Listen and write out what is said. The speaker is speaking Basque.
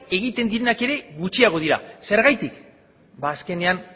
egiten direnak ere gutxiagoak dira zergatik ba azkenean